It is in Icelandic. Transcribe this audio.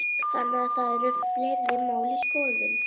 Þannig að það eru fleiri mál í skoðun?